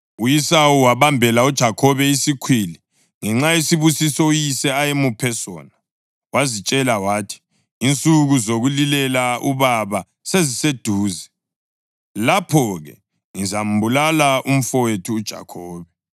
U-Esawu wabambela uJakhobe isikhwili ngenxa yesibusiso uyise ayemuphe sona. Wazitshela wathi, “Insuku zokulilela ubaba seziseduze; lapho-ke ngizambulala umfowethu uJakhobe.”